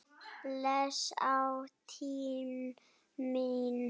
Bless ástin mín.